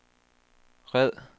red